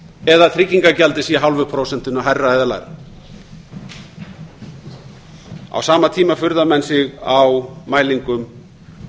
eða tryggingagjaldið sé hálfu prósentinu hærra eða lægra á sama tíma furða menn sig á mælingum